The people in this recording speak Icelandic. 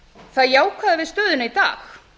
það jákvæða við stöðuna í dag